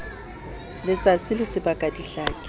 letsatsi le sebaka di hlake